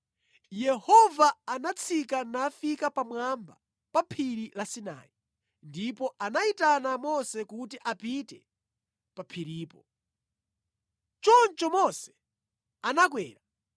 Yehova anatsika nafika pamwamba pa phiri la Sinai, ndipo anayitana Mose kuti apite pa phiripo. Choncho Mose anakwera,